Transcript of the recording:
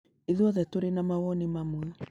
ithuothe tũrĩ na mawoni mamwe